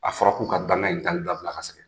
A fɔra k'u ka dangan in taali dabila ka sɛgɛn.